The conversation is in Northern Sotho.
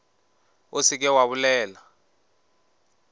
o se ke wa bolela